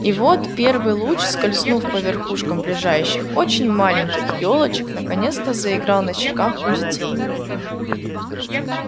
и вот первый луч скользнув по верхушкам ближайших очень маленьких ёлочек наконец-то заиграл на щеках у детей